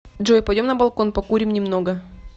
джой пойдем на балкон покурим немного